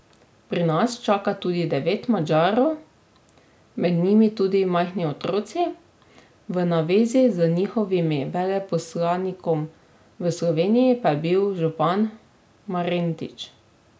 Pri nas čaka tudi devet Madžarov, med njimi tudi majhni otroci, v navezi z njihovim veleposlanikom v Sloveniji pa je bil župan Marentič.